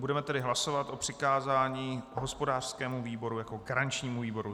Budeme tedy hlasovat o přikázání hospodářskému výboru jako garančnímu výboru.